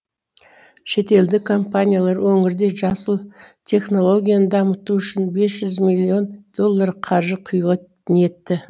шетелдік компаниялар өңірде жасыл технологияны дамыту үшін бес жүз миллион доллар қаржы құюға ниетті